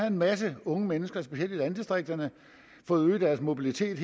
en masse unge mennesker specielt i landdistrikterne fået øget deres mobilitet